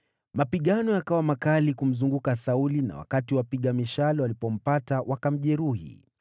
Mapigano yakawa makali kumzunguka Sauli na wakati wapiga mishale walipompata, wakamjeruhi.